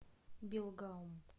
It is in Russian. белгаум